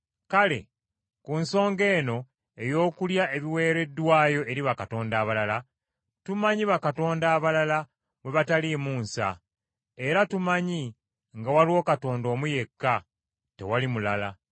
Kale ku nsonga eno ey’okulya ebiweereddwayo eri bakatonda abalala, tumanyi bakatonda abalala bwe bataliimu nsa. Era tumanyi nga waliwo Katonda omu yekka, tewali mulala.